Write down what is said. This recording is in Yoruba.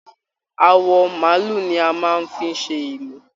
Àwọ maálù ní a máa n fí ṣe ìlù.